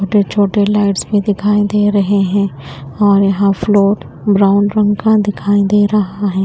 बड़े छोटे लाइट्स भीं दिखाई दे रहें हैं और यहाँ फ्लोर ब्राउन रंग का दिखाई दे रहा हैं।